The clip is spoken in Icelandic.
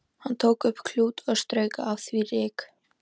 Hann tók upp klút og strauk af því ryk.